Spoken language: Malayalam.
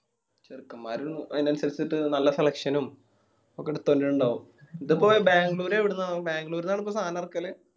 ചെറുക്കന്മാരും അയിന് അനുസരിച്ചിട്ട് നല്ല selection ഉം ഒക്കെ എടുത്ത് കൊണ്ടുവരിന്നിണ്ടാവും ഇതിപ്പോ ബാംഗ്ലൂർ എവിടുന്നാ ബാംഗ്ലൂരിന്നാണോ ഇപ്പോ സാനം ഇറക്കല്